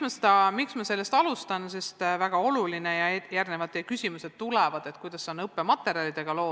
Alustan sellest, mille kohta tulevad teie küsimused ehk kuidas on lood õppematerjalidega.